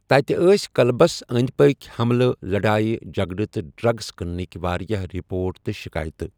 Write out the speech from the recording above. تَتہِ ٲسۍ کٕلبَس أنٛدۍ پٔکھ حَملٕہ، لڑایہِ جٔگڑٕ تہٕ ڈرٛگٕس کٔننٕکۍ واریٛاہ رپوٹہٕ تہٕ شِکایتہٕ۔